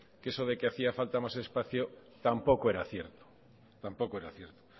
que eso de hacía falta más espacio tampoco era cierto